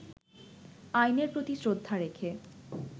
আইনের প্রতি শ্রদ্ধা রেখে